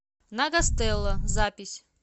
на гастелло запись